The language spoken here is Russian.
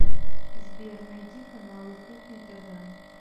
сбер найди каналы кухня тв